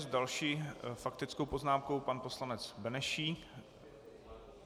S další faktickou poznámkou pan poslanec Benešík.